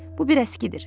Bu bir əskidir.